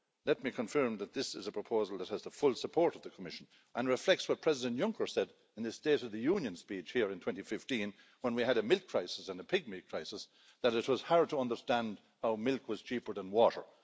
Let me confirm that this is a proposal that has the full support of the Commission and reflects what President Juncker said in his State of the Union speech here in 2015, when we had a milk crisis and a pigmeat crisis, that it was hard to understand how milk was cheaper than water.